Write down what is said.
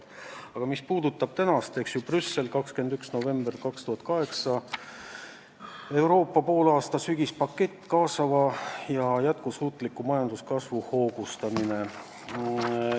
Aga mis puudutab tänast päeva ja Brüsseli hinnangut 21. novembril 2018, siis jah, on dokument nimega "Euroopa poolaasta sügispakett: kaasava ja jätkusuutliku majanduskasvu hoogustamine".